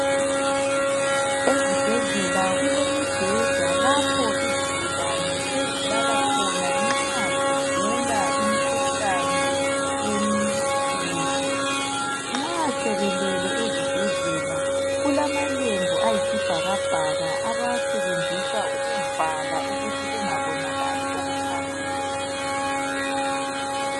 Ezibhedlela ku lemibheda lapho izigulane ezilala khona nxa zigula imikhuhlane emikhulu, nxa sebelele ezibhedlela kulamalembu ayi sibhakabhaka abawasebenzisa ukuvala ukuthi kungabonakali okuphakathi.